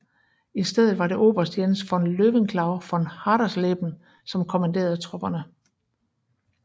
I stedet var det oberst Jens von Löwenklau von Hadersleben som kommanderede tropperne